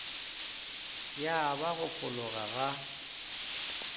ya ba go fologa ga